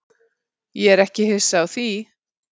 Ég er ekki hissa á því.